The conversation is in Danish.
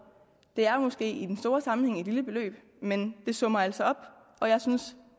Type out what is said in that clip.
det er måske i den store sammenhæng et lille beløb men det summerer altså op og jeg synes